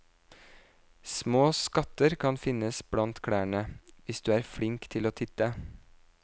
Små skatter kan finnes blant klærne, hvis du er flink til å titte.